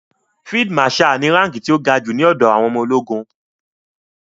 Field marshal ni ránkí ti ó ga jù ní ọ̀dọ̀ àwọn ọmọ ológun.